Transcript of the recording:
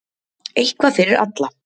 Eitthvað fyrir alla